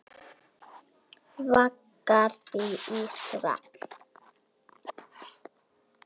Vaggar því í svefn.